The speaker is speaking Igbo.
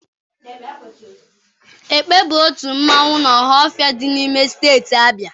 Ekpe bụ otu mmanwụ n'Ọhafịa dị n'ime steeti Abịa